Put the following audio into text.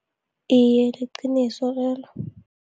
Iye, liqiniso lelo.